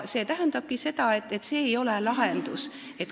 See tähendabki seda, et see ei ole lahendus.